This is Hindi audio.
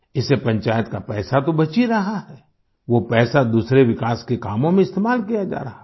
इससे पंचायत का पैसा तो बच ही रहा है वो पैसा विकास के दूसरे कामों में इस्तेमाल किया जा रहा है